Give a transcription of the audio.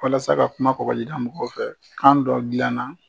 Walasa ka kuma kɔgɔjida mɔgɔw fɛ kan dɔ dilanna.